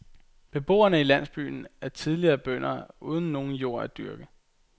Beboerne i landsbyen er især tidligere bønder uden nogen jord at dyrke.